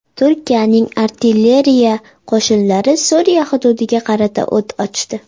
Turkiyaning artilleriya qo‘shinlari Suriya hududiga qarata o‘t ochdi.